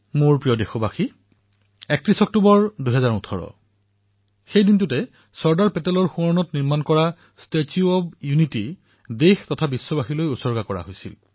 মোৰ মৰমৰ দেশবাসীসকল ৩১ অক্টোবৰ ২০১৮ তাৰিখে চৰ্দাৰ চাহাবৰ স্মৃতিত ষ্টেচু অব্ ইউনিটী দেশ আৰু বিশ্বলৈ উচৰ্গা কৰা হৈছিল